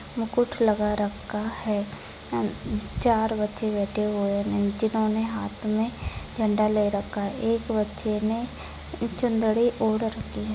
मुकुट लगा रखा है अम चार बच्चे बैठे हुए जिन्होने हात मे झंडा ले रखा है एक बच्चे ने चुनरी ओढ़ रखी है।